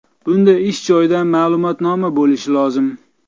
Bunda ish joyidan ma’lumotnoma bo‘lishi lozim.